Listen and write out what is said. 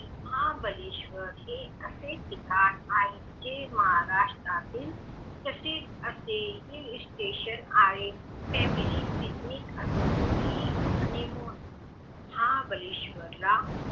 महाबळेश्वर हे असे ठिकाण आहे जे महाराष्ट्रातील तसे असे हिल्सस्टेशन आहे त्यामुळे पिकनिक असो कि हनिमून